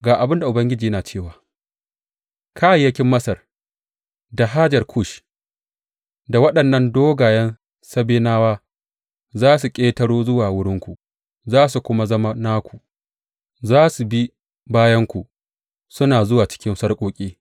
Ga abin da Ubangiji yana cewa, Kayayyakin Masar da hajar Kush, da waɗannan dogayen Sabenawa, za su ƙetaro zuwa wurinku za su kuma zama naku; za su bi bayanku, suna zuwa cikin sarƙoƙi.